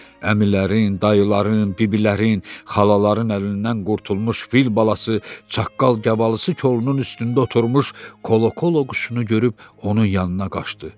Əmilərin, dayıların, biblərin, xalaların əlindən qurtulmuş fil balası çaqqal-gəbalısı kolunun üstündə oturmuş kolokola quşunu görüb onun yanına qaçdı.